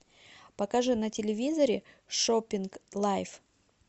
покажи на телевизоре шоппинг лайф